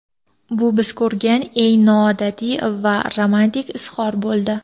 Bu biz ko‘rgan eng noodatiy va romantik izhor bo‘ldi.